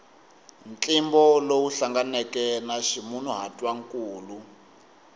ntlimbo lowu hlanganeke na ximunhuhatwankulu